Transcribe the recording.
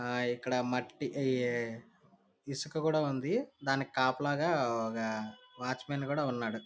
ఆ ఇక్కడ మట్టి ఇ ఇసుక కూడా ఉంది. దానికి కాపలాగా ఒక వాచ్మెన్ కూడా ఉన్నాడు.